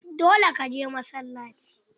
Dole ka je masallaci!